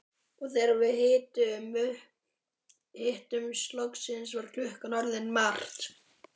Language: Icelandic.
Og þegar við hittumst loksins var klukkan orðin margt.